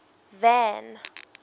van